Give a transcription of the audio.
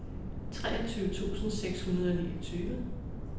treogtyve tusind seks hundrede og niogtyve